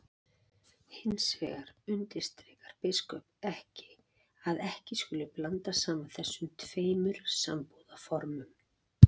Hins vegar undirstrikar biskup að ekki skuli blanda saman þessum tveim sambúðarformum.